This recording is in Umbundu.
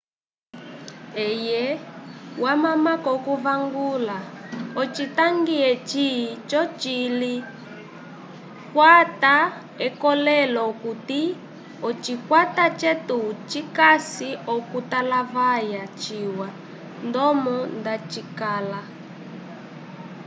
eye wamamako okuvangula ocitangi eci cocili kwata ekolelo okuti ocikwata cetu cikasi okutalavaya ciwa ndomo nda cikala